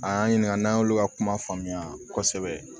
A y'an ɲininka n'an y'olu ka kuma faamuya kosɛbɛ